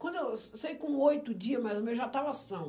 Quando eu saí com oito dias, mas ou menos, já estava sã.